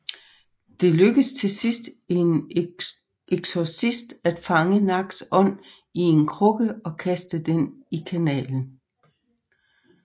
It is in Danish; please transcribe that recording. Det lykkes til sidst en eksorcist at fange Naks ånd i en krukke og kaste den i kanalen